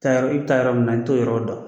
Taa yɔrɔ, i bi taa yɔrɔ min na i t'o yɔrɔw dɔ.